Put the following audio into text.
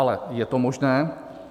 Ale je to možné.